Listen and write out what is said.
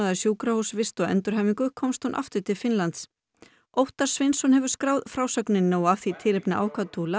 sjúkrahúsvist og endurhæfingu komst hún aftur til Finnlands Óttar Sveinsson hefur skráð frásögnina og af því tilefni ákvað